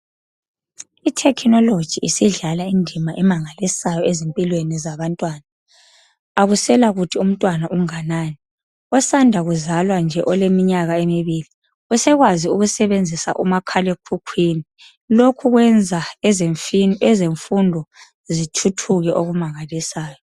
Ithekhinoloji isidlala idima emangalisayo ezimpilweni zabantwana akuselakuthi umntwana unganani osanda kuzwala nje oleminyaka emibili esekwazi ukusebenzisa umakhala ekhukhwini lokhu kwenza ezefundo zithuthuke okumangalisayo.